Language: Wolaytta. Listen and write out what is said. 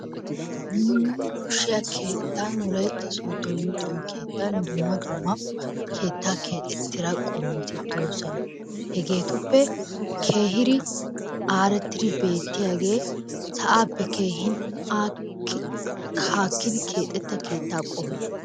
Nu yuniburushshiya keettan wolaytta sooddo luxiyo keettan dumma dumma keettaa keexettida qommoti doosona. Hegeetuppe keehir aarettidi beettiyagee sa'aappe keehin haakkidi keexetta keettaa qommoy...